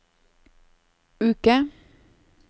uke